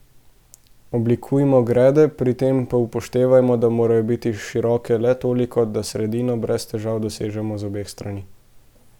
Oblikujmo grede, pri tem pa upoštevajmo, da morajo biti široke le toliko, da sredino brez težav dosežemo z obeh strani.